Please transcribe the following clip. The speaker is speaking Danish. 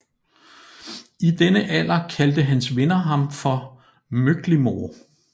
I denne alder kaldte hans venner ham for Möcklimore